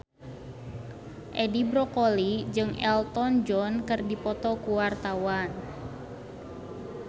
Edi Brokoli jeung Elton John keur dipoto ku wartawan